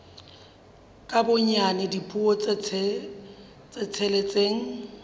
ka bonyane dipuo tse tsheletseng